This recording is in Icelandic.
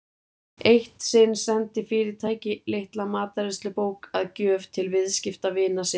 Eitt sinn sendi fyrirtæki litla matreiðslubók að gjöf til viðskiptavina sinna.